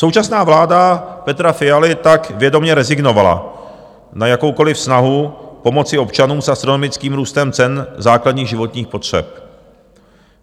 Současná vláda Petra Fialy tak vědomě rezignovala na jakoukoli snahu pomoci občanům s astronomickým růstem cen základních životních potřeb.